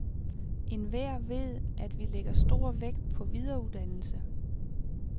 Enhver ved, at vi lægger stor vægt på videreuddannelse.